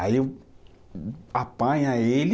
Aí eu apanha ele